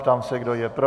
Ptám se, kdo je pro?